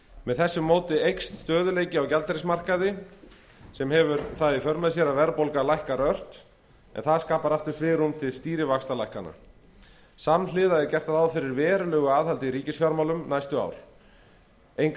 með þessu móti eykst stöðugleiki á gjaldeyrismarkaði sem hefur það í för með sér að verðbólga lækkar ört en það skapar aftur svigrúm til stýrivaxtalækkana samhliða er gert ráð fyrir verulegu aðhaldi í ríkisfjármálum næstu ár engu að